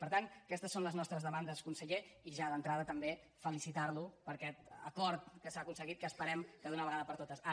per tant aquestes són les nostres demandes conseller i ja d’entrada també felicitar lo per aquest acord que s’ha aconseguit que esperem que d’una vegada per totes ara sí s’implementi